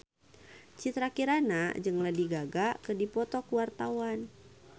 Citra Kirana jeung Lady Gaga keur dipoto ku wartawan